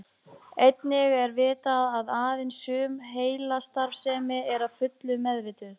Einnig er vitað að aðeins sum heilastarfsemi er að fullu meðvituð.